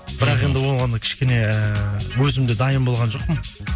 бірақ енді оған кішкене ііі өзім де дайын болған жоқпын